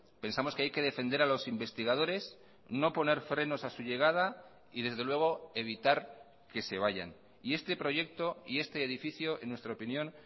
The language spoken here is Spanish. pensamos que hay que defender a los investigadores no poner frenos a su llegada y desde luego evitar que se vayan y este proyecto y este edificio en nuestra opinión